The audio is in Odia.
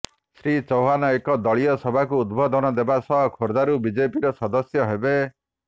ଶ୍ରୀ ଚୌହାନ ଏକ ଦଳୀୟ ସଭାକୁ ଉଦ୍ବୋଧନ ଦେବା ସହ ଖୋର୍ଦ୍ଧାରୁ ବିଜେପିର ସଦସ୍ୟ ହେବେ